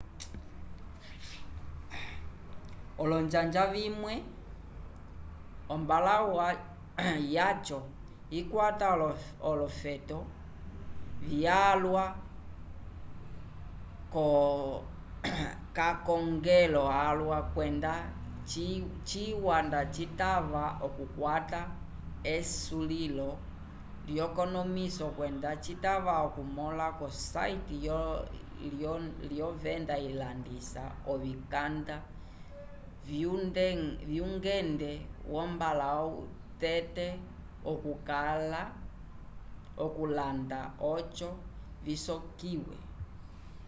olonjanja vimwe ombalãwu yaco ikwata olofeto vyalwa k'akongelo alwa kwenda ciwa nda citava okukwata esulilo lyekonomiso kwenda citava okumõla ko site lyovenda ilandisa ovikanda vyngende wombalãwu tete okulanda oco visolekiwe